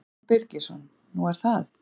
Símon Birgisson: Nú er það?